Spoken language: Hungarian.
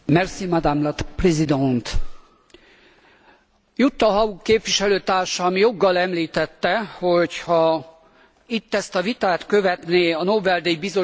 Jutta Haug képviselőtársam joggal említette, hogyha itt ezt a vitát követné a Nobel díj Bizottság, lehet, hogy soha nem kaptuk volna meg a béke Nobel díjat.